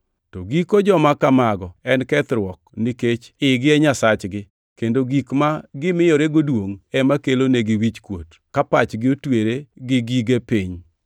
To giko joma kamago en kethruok nikech igi e nyasachgi, kendo gik ma gimiyorego duongʼ ema kelonigi wichkuot, ka pachgi otwere gige pinyni.